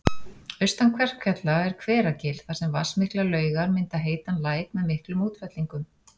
Austan Kverkfjalla er Hveragil þar sem vatnsmiklar laugar mynda heitan læk með miklum útfellingum